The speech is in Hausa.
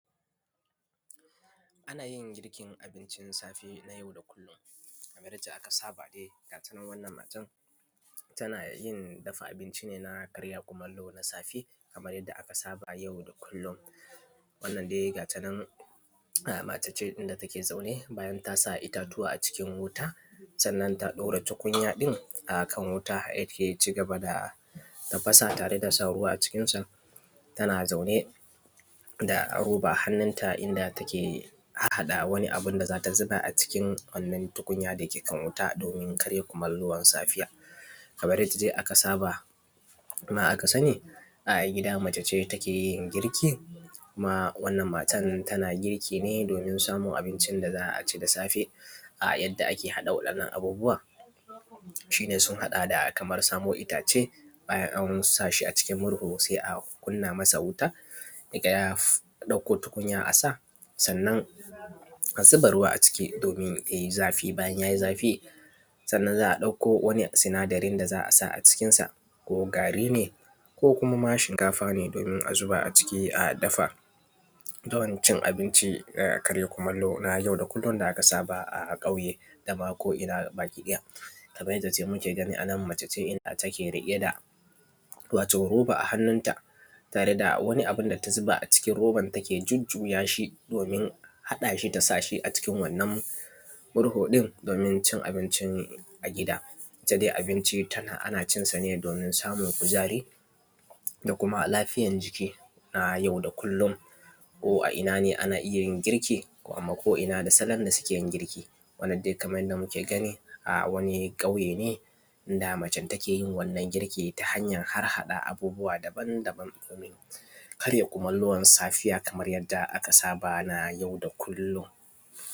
Anayin girkin abincin safiya na yau da kullum kamar yacce aka saba dai ga tanan wannan matan tanayin dafa abinci ne na karya kumallo na safe kamar yadda aka saba ayau da kullum. Wannan dai gatanan mace inda take zaune bayan tasa ittatuwa a cikin wuta sannan ta ɗora tukunya ɗin akan wuta danya cigaba da tafasa tareda sa ruwa a cikin ta tana zaune da roba a hannunta inda take hahhaɗa wani abunda zata zuba a cikin wannan tukunya ɗin dake kan wuta domin kraya kumallon safiya. Kamar yadda dai aka saba kuma aka sani a gida macece take girki kuma wannan matan tana girki ne domin samun abunda za’aci da safe. A yadda ake haɗa waɗannan abubuwa shine sun haɗa da Kaman samo ittace bayan an sashi a cikin murhu sai a sashi a wuta, sai a ɗauko tukunya a sa sannan a zuba ruwa a ciki yayi zafi bayan yai zafi sannan a ɗakko sinadarin da za’a a cikin sa ko gari ne ko kuma ma shinkafa a zuba a ciki a dafa dancin abinci na karya kumallo na yau da kullum da aka saba a cikin ƙauye dama ko inna gabaki ɗaya. Kamar yadda dai muke gani anan mace ce inda take riƙe da da wato roba a hannunta ta reda wani abunda ta zuba a roban da take jujjuyashi domin haɗashi ta sanyashi a cikin wannan murhu ɗindomin cin abinci a gida. Itta dai abinci ana cinsa ne domin samun kuzari da kuma lafiyar jiki na yau da kullum ko a inna ne ana iyyayin girki, ko inna da salon da sukeyin girki wanna dai Kaman yanda muke gani, a wani ƙuyene da mace takeyin wannan girki ta hanyar harhaɗa abubuwa daban daban Karin kumallo na safiya kamar yadda aka saba na yau da kullum.